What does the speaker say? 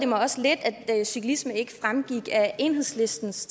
mig også lidt at cyklisme ikke fremgik af enhedslistens